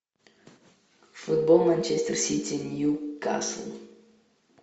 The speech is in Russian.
футбол манчестер сити ньюкасл